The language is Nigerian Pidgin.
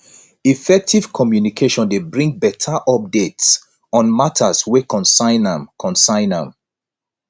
effective communication dey bring better updates on matters wey concern am concern am